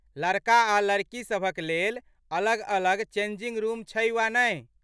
लड़का आ लड़की सभक लेल अलग अलग चेंजिंग रुम छै वा नहि?